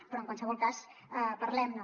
però en qualsevol cas parlem ne